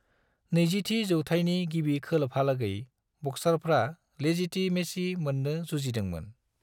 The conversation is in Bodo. नैजिथि जौथायनि गिबि खोलोबहालागै, बक्सारफ्रा लेजितिमेसि मोननो जुजिदोंमोन।